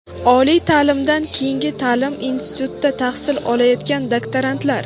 oliy taʼlimdan keyingi taʼlim institutida tahsil olayotgan doktorantlar.